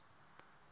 vo kala va nga ri